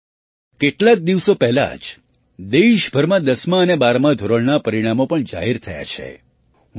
સાથીઓ કેટલાક દિવસો પહેલાં જ દેશભરમાં દસમા અને બારમા ધોરણનાં પરિણામો પણ જાહેર થયાં છે